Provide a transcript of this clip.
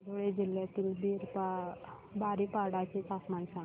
धुळे जिल्ह्यातील बारीपाडा चे तापमान सांग